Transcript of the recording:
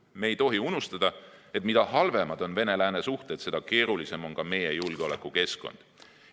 Me ei tohi unustada, et mida halvemad on Venemaa ja lääne suhted, seda keerulisem on ka meie julgeolekukeskkond.